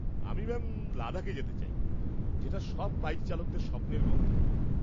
-আমি ম্যাম লাদাখ যেতে চাই, যেটা সব বাইক চালকদের স্বপ্নের গন্তব্য।